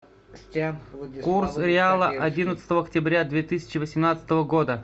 курс реала одиннадцатого октября две тысячи восемнадцатого года